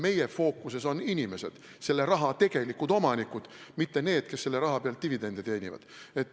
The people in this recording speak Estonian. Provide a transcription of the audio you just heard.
Meie fookuses on inimesed, raha tegelikud omanikud, mitte need, kes selle raha pealt dividende teenivad.